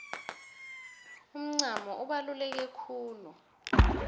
umncamo ubaluleke khulu